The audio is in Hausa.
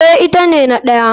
Eh ita ne na ɗaya.